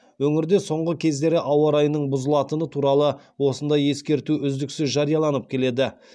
өңірде соңғы күндері ауа райының бұзылатыны туралы осындай ескерту үздіксіз жарияланып келеді